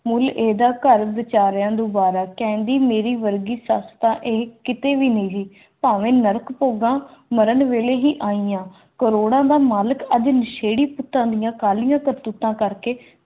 ਮੁੱਲ ਇਹਦਾ ਘਰ ਵਿਚਾਰਿਆਂ ਨੂੰ ਦੁਬਾਰਾ ਕਹਿੰਦੀ ਮੇਰੇ ਵਰਗੀ ਤਾਂ ਇਹ ਕਿਤੇ ਵੀ ਨਹੀਂ ਕੀ ਭਾਵ ਹੈ